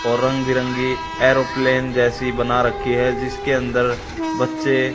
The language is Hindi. और रंग बिरंगी एयरोप्लेन जैसी बना रखी है जिसके अंदर बच्चे--